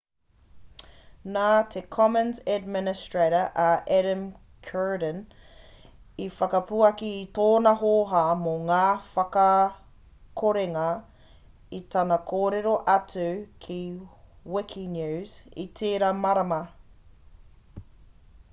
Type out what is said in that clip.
nā te commons administrator a adam cuerden i whakapuaki i tōna hōhā mō ngā whakakorenga i tana kōrero atu ki wikinews i tērā marama